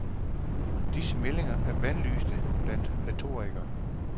Disse meldinger er bandlyste blandt retorikere.